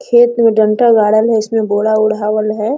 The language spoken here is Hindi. खेत में डांटा गाड़ल है उसमे बोरा ओढावल है।